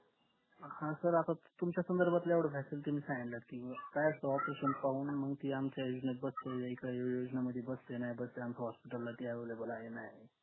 हा sir आता तुमच्या संदर्भातल जेवड जे मी असेल ते मी सांगितलं की काय असत operations पाहून मंग ती आमच्या योजनेत बसतंय काय वेगळ्या योजना मध्ये बसतंय नाय बसतंय आमच्या hospital ला ते available हाय नाय हाय